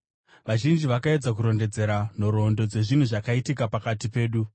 Vazhinji vakaedza kurondedzera nhoroondo dzezvinhu zvakaitika pakati pedu,